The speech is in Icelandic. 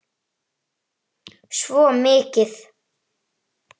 Svo mikið.